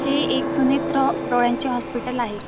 हे एक सुमित्रा डोळ्यांचे हॉस्पिटल आहे.